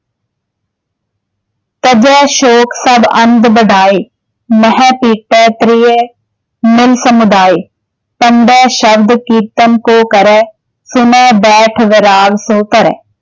ਗੁਰਬਾਣੀ ਦੀਆਂ ਤੁਕਾਂ